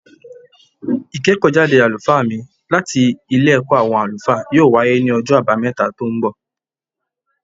Ìkẹ́kọ̀ọ́ jáde àlùfáà mí láti Ilé ẹ̀kọ́ àwọn àlùfáà yóò wáyé ní ọjọ́ àbámẹ́ta tó ń bọ̀